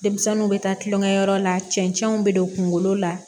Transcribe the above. Denmisɛnninw bɛ taa tulonkɛyɔrɔ la cɛncɛnw bɛ don kungolo la